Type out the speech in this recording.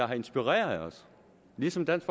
har inspireret os ligesom dansk